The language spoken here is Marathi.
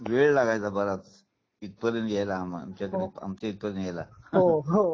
वेळ लागायचा बराच इथपर्यंत यायला आम्हाला आमच्या इथं पर्यंत यायला हो